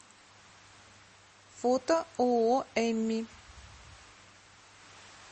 фото ооо эмми